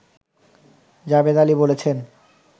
জাবেদ আলী বলেছেন